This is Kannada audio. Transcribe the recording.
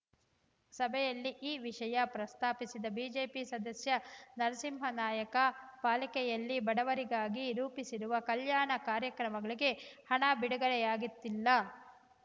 ಸಭೆಯಲ್ಲಿ ಈ ವಿಷಯ ಪ್ರಸ್ತಾಪಿಸಿದ ಬಿಜೆಪಿ ಸದಸ್ಯ ನರಸಿಂಹನಾಯಕ ಪಾಲಿಕೆಯಲ್ಲಿ ಬಡವರಿಗಾಗಿ ರೂಪಿಸಿರುವ ಕಲ್ಯಾಣ ಕಾರ್ಯಕ್ರಮಗಳಿಗೆ ಹಣ ಬಿಡುಗಡೆಯಾಗುತ್ತಿಲ್ಲ